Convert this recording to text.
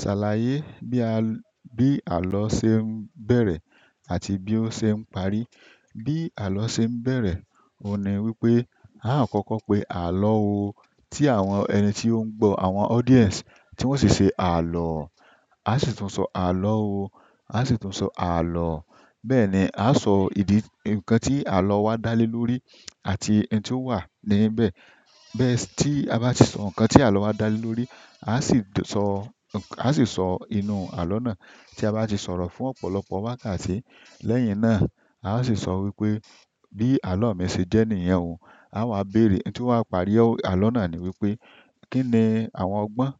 Ṣàlàyé bí àlọ́ ṣe ń bẹ̀rẹ̀ àti bí ó ṣe ń parí? Bi alo se n bere oun ni wípé akoko pe alo ooo, ti àwọn ẹni ti oun ngbo audience ti won si se alo. A sì tún sọ àlọ́ o, a sì tún sọ àlọ́. Bẹ́ẹ̀ ni, a sọ ìdí, ǹkan tí àlọ́ wa dá lé lórí àti ẹni tí ó wà níbẹ̀. Bẹ́ẹ̀ si tí a bá tì sọ ǹkan tí àlọ́ wa dá lé lórí, a sì sọ, a sì sọ inú àlọ́ náà tí a bá ti sọ̀rọ̀ fún ọ̀pọ̀lọpọ̀ wákàtí. Lẹ́yìn náà, a ó sì sọ wípé bí àlọ́ mi ṣe jẹ́ niyen ò, a wa béèrè, ǹ to wa parí ọ́ àlọ́ náà ni wípé kíni àwọn ọgbọ́n?